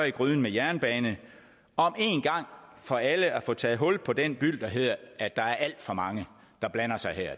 i gryden med jernbane om en gang for alle at få taget hul på den byld der hedder at der er alt for mange der blander sig her